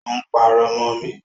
Ó ń pàrọ̀ mọ mi